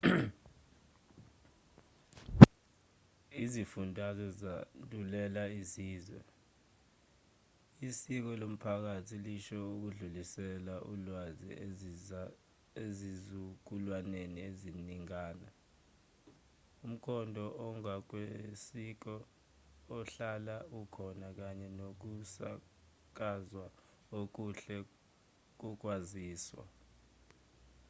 izifundazwe zandulela izizwe isiko lomphakathi lisho ukudlulisela ulwaze ezizukulwaneni eziningana umkhondo ongokwesiko ohlala ukhona kanye nokusakazwa okuhle kokwaziswa